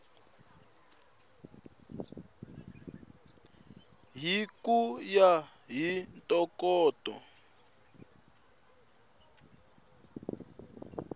hi ku ya hi ntokoto